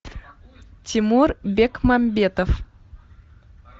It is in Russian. тимур бекмамбетов